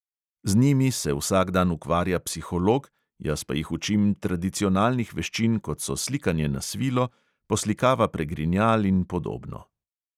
Z njimi se vsak dan ukvarja psiholog, jaz pa jih učim tradicionalnih veščin, kot so slikanje na svilo, poslikava pregrinjal in podobno.